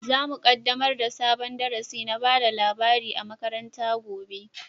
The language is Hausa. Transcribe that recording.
Zamu kaddamar da sabon darasi na bada labari a makaranta gobe